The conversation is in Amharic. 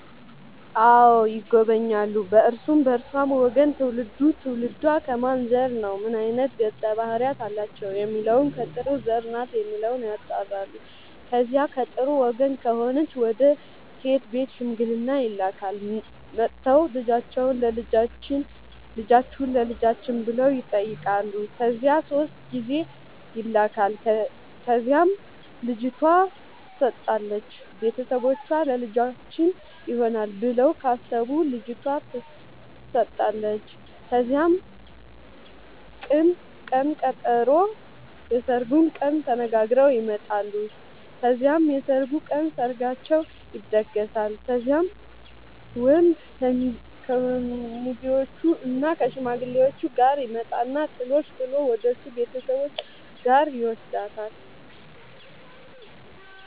አዎ ይጎበኛሉ በእርሱም በእርሷም ወገን ትውልዱ ትውልዷ ከማን ዘር ነው ምን አይነት ገፀ ባህርያት አላቸው የሚለውን ከጥሩ ዘር ናት የሚለውን ያጣራሉ። ከዚያ ከጥሩ ወገን ከሆነች ወደ ሴት ቤት ሽምግልና ይላካል። መጥተው ልጃችሁን ለልጃችን ብለው ይጠያቃሉ ከዚያ ሶስት ጊዜ ይላካል ከዚያም ልጅቷ ትሰጣለች ቤተሰቦቿ ለልጃችን ይሆናል ብለው ካሰቡ ልጇቷ ተሰጣለች ከዚያም ቅን ቀጠሮ የስርጉን ቀን ተነጋግረው ይመጣሉ ከዚያም የሰርጉ ቀን ሰርጋቸው ይደገሳል። ከዚያም ወንድ ከሙዜዎችእና ከሽማግሌዎቹ ጋር ይመጣና ጥሎሽ ጥል ወደሱ ቤተሰቦች ጋር ይውስዳታል።